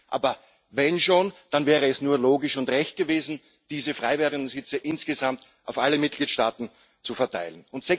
Aber wenn schon, dann wäre es nur logisch und recht gewesen, diese frei werdenden Sitze insgesamt auf alle Mitgliedstaaten zu verteilen.